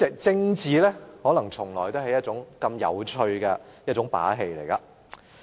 政治可能從來都是一個有趣的遊戲。